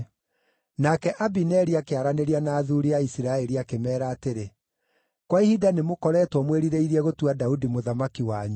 Nake Abineri akĩaranĩria na athuuri a Isiraeli akĩmeera atĩrĩ, “Kwa ihinda nĩmũkoretwo mwĩrirĩirie gũtua Daudi mũthamaki wanyu.